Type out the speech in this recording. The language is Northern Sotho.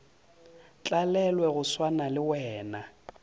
tlalelwe go swana le wena